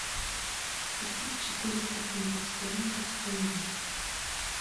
купить четыреста фунтов стерлингов стоимость